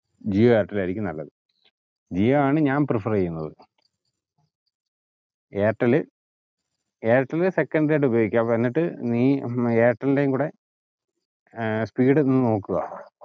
ജിയോ എയർടെൽ ആയിരിക്കും നല്ലത്. ജിയോ ആണ് ഞാൻ prefer എയ്യുന്നത് എയർടെൽ എയർടെൽ secondary ആയിട്ട് ഉപയോഗിക്കുവ എന്നിട്ട് ഹും ഐർട്ടലിന്റേം കൂടെ ഏർ speed ഒന്ന് നോക്കുവ.